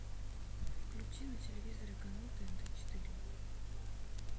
включи на телевизоре канал тнт четыре